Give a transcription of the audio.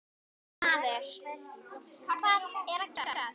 Maður, hvað er að gerast?